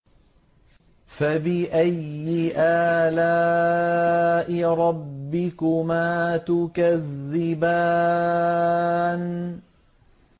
فَبِأَيِّ آلَاءِ رَبِّكُمَا تُكَذِّبَانِ